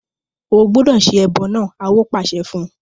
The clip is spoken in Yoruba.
O gbúdọ̀ se ẹbọ náà! Awo pàṣẹ fún un.